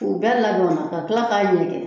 U bɛɛ ladonna ka kila k'a ɲɛkɛn